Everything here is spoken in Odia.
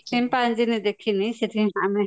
ସିମ୍ପାଜି ଦେଖିନି ସେଥିପାଇଁ ଆମେ